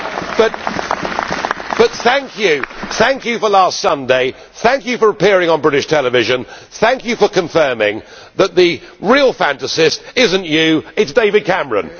But thank you for last Sunday, thank you for appearing on British television, thank you for confirming that the real fantasist is not you it is David Cameron.